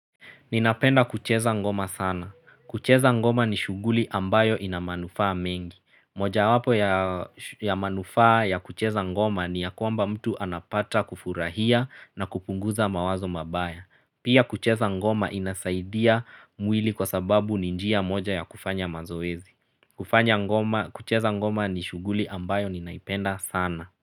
Ninapenda kucheza ngoma sana. Kucheza ngoma ni shuguli ambayo inamanufaa mingi. Moja wapo ya manufaa ya kucheza ngoma ni ya kwamba mtu anapata kufurahia na kupunguza mawazo mabaya. Pia kucheza ngoma inasaidia mwili kwa sababu ni njia moja ya kufanya mazoezi. Kucheza ngoma ni shuguli ambayo ninaipenda sana.